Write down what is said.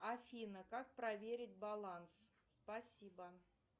афина как проверить баланс спасибо